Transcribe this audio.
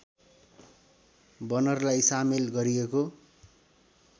बनरलाई सामेल गरिएको